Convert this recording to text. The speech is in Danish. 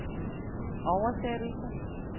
oversættelse